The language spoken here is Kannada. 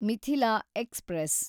ಮಿಥಿಲಾ ಎಕ್ಸ್‌ಪ್ರೆಸ್